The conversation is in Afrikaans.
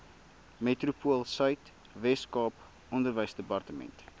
metropoolsuid weskaap onderwysdepartement